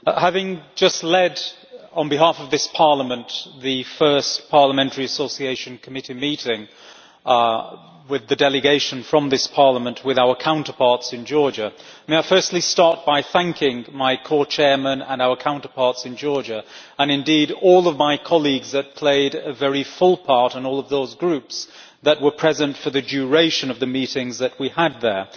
Mr President, having just led, on behalf of this Parliament, the first Parliamentary Association Committee meeting with the delegation from this Parliament with our counterparts in Georgia, may I firstly start by thanking my Co Chair and our counterparts in Georgia, and indeed all of my colleagues who played a very full part in all of those Groups that were present for the duration of the meetings that we had there.